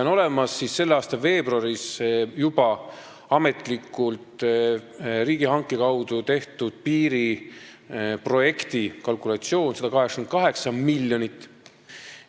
On olemas ka selle aasta veebruaris juba ametlikult riigihanke kaudu tehtud piiriprojekti kalkulatsioon, 188 miljonit